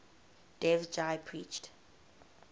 dev ji preached